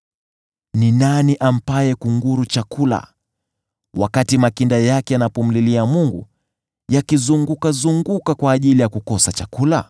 Ni nani ampaye kunguru chakula wakati makinda yake yanamlilia Mungu, yakizungukazunguka kwa ajili ya kukosa chakula?